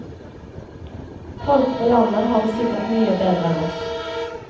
Folk på landet har det sikkert mye bedre enn oss.